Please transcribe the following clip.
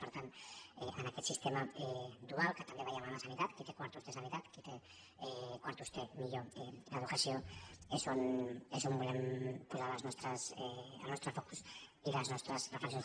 per tant en aquest sistema dual que també veiem en la sanitat qui té quartos té sanitat qui té quartos té millor educació és on volem posar el nostre focus i les nostres reflexions